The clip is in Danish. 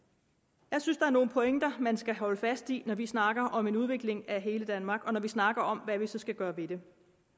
jeg synes er nogle pointer man skal holde fast i når vi snakker om en udvikling af hele danmark og når vi snakker om hvad vi så skal gøre ved det